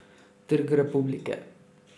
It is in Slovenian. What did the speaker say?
Trg Republike.